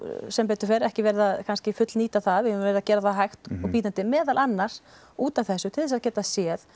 sem betur fer ekki verið að fullnýta það við höfum verið að gera það hægt og bítandi meðal annars útaf þessu til að geta séð